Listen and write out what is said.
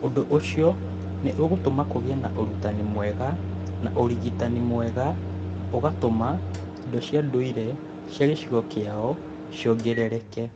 Ũndũ ũcio nĩ ũgatũma kũgĩe na ũrutani mwega na ũrigitani mwega na ũgatũma indo cia ndũire cia gĩcigo kĩao ciongerereke.